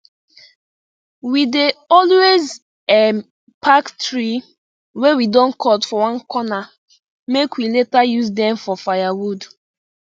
we dey always um pack tree wey we don cut for one corner make we later use dem for firewood